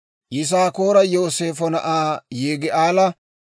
Yisaakoora Yooseefo na'aa Yigi'aala;